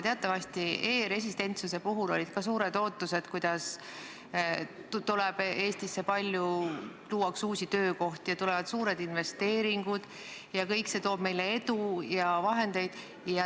Teatavasti olid ka e-residentsuse puhul suured ootused, kuidas Eestisse tuuakse palju uusi töökohti, tulevad suured investeeringud ning kõik see toob meile edu ja vahendeid.